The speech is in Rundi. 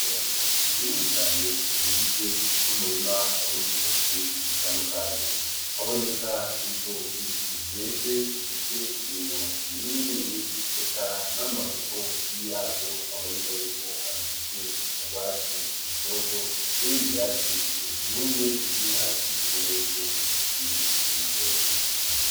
Itongo rinini cane rigizwe n'umurima w'ibitoki bitandukanye, haboneka ibitoki vyeze bifise imino minini minini eka n'amatoto yavyo aboneka yuko agifise urwatsi rutoto n'ibindi vyatsi vyumye biri hasi ubona yuko bisasiye ivyo bitoki.